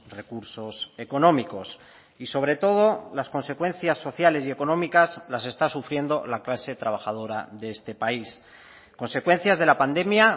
recursos económicos y sobre todo las consecuencias sociales y económicas las está sufriendo la clase trabajadora de este país consecuencias de la pandemia